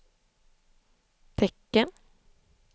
tecken